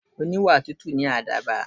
Oníwà tútù ni àdàbà.